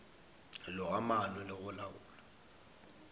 loga maano le go laola